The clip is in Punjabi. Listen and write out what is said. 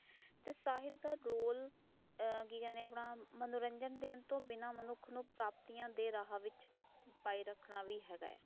ਸਾਹਿਤ ਦਾ ਰੋਲ ਆ ਕਿ ਕਦੇ ਹਾਂ ਆਪਣਾ ਮਨੋਰੰਜਨ ਦੇਣ ਤੋਂ ਬਿਨਾ ਮਨੁੱਖ ਨੂੰ ਪ੍ਰਾਪਤੀਆਂ ਦੇ ਰਾਹਾਂ ਵਿੱਚ ਪਾਈਏ ਰਹਾਕਣਾ ਵੀ ਹੈਗਾ